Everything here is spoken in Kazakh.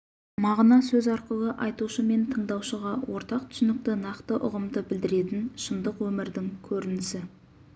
мағына сөз арқылы айтушы мен тыңдаушыға ортақ түсінікті нақты ұғымды білдіретін шындық өмірдің көрінісі